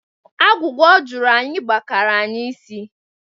Agwugwa ọ jụrụ anyị gbakara anyị isi.